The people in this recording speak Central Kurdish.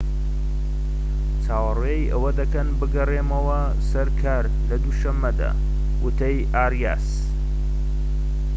چاوەڕێی ئەوە دەکەن بگەڕێمەوە سەر کار لە دووشەمەدا وتەی ئاریاس